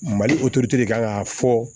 Mali de kan k'a fɔ